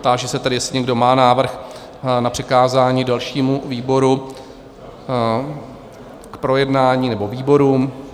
Táži se tedy, jestli někdo má návrh na přikázání dalšímu výboru k projednání nebo výborům?